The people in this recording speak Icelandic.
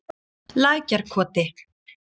Lækjarkoti